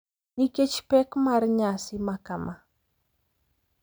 Nikech pek mar nyasi makama,